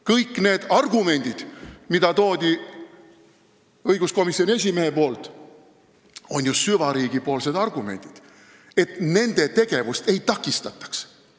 Kõik need argumendid, mida tõi õiguskomisjoni esimees, on ju süvariigi argumendid, et nende tegevust ei takistataks.